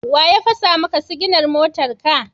Wa ya fasa maka siginar motarka?